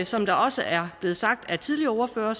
som det også er blevet sagt af tidligere ordførere